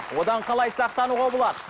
одан қалай сақтануға болады